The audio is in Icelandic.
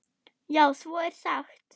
Já, svo er sagt.